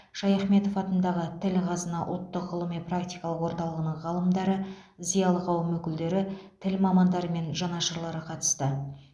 шаяхметов атындағы тіл қазына ұлттық ғылыми практикалық орталығының ғалымдары зиялы қауым өкілдері тіл мамандары мен жанашырлары қатысты